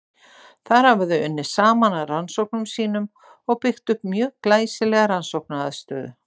Þar hafa þau unnið saman að rannsóknum sínum og byggt upp mjög glæsilega rannsóknaraðstöðu.